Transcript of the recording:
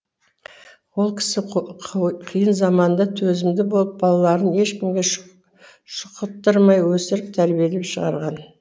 ол кісі қиын заманда төзімді болып балаларын ешкімге шұқыттырмай өсіріп тәрбиелеп шығарған